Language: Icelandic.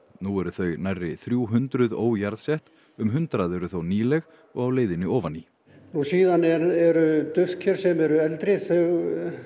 nú eru þau nærri þrjú hundruð um hundrað eru þó nýleg og á leiðinni ofan í nú síðan eru duftker sem eru eldri þau